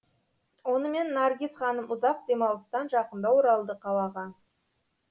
онымен наргиз ханым ұзақ демалыстан жақында оралды қалаға